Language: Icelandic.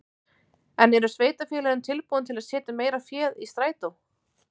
En eru sveitarfélögin tilbúin til að setja meira fé í strætó?